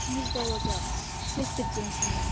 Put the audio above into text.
İtimiz də olacaq, sekter cinsindən.